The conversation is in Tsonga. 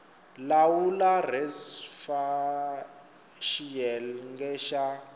lawula res fal xiyenge xa